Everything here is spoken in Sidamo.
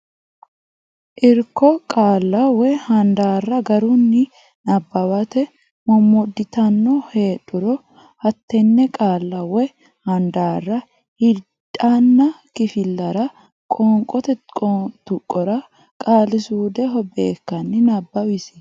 Irko Qaalla woy handaarra garunni nabbawate mommodditanno heedhuro hattenne qaalla woy handaarra hiliddaanna kifillara qoonqote qoonqote tuqqora qaali suudeho beekkanni nabbawisiisi.